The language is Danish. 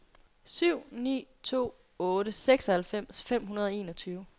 syv ni to otte seksoghalvfems fem hundrede og enogtyve